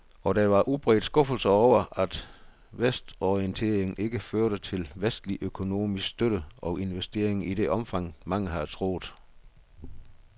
Og der var udbredt skuffelse over, at vestorienteringen ikke førte til vestlig økonomisk støtte og investeringer i det omfang, mange havde troet.